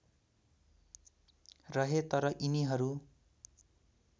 रहे तर यिनीहरू